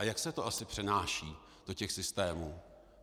A jak se to asi přenáší do těch systémů?